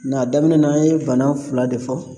a daminɛ na an ye bana fila de fɔ